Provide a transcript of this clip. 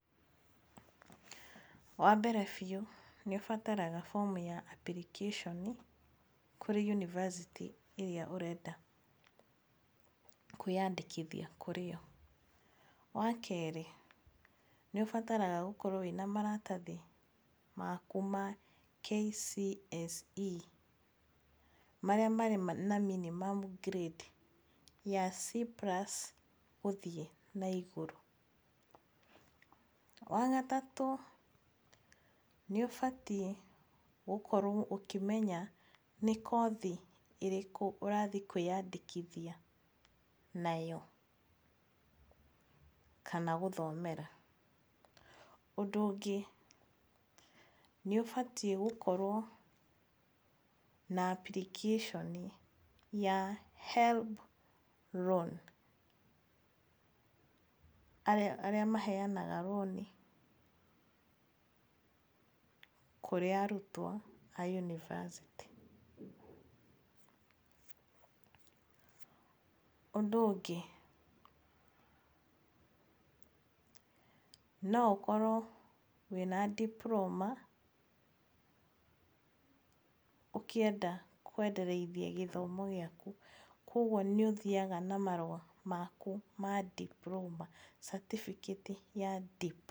Wa mbere biũ nĩ ũbataraga fomu ya application kũrĩ yunivasĩtĩ ĩrĩa ũrenda kwĩandĩkithia kũrĩ yo. Wa kerĩ nĩ ũbataraga gũkorwo wĩna maratathi maku ma KCSE marĩa marĩ na minimum grade ya C+ gũthiĩ naigũrũ. Wa gatatũ nĩ ũbatiĩ gũkorwo ũkĩmenya nĩ kothi ĩrĩkũ ũrathiĩ kwĩandĩkithia nayo kana gũthomera. Ũndũ ũngĩ nĩ ũbatiĩ gũkorwo na application ya HELB loan arĩa maheanaga rũni kũrĩ arutwo a yunivasĩtĩ. Ũndũ ũngĩ no ũkorwo wĩna diploma ũkĩenda kuendeleza gĩthomo gĩaku. Koguo nĩ ũthiaga na marũa maku ma diploma. certificate ya diploma